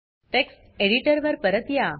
text editor वर परत या